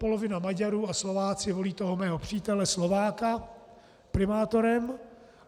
Polovina Maďarů a Slováci volí toho mého přítele Slováka primátorem.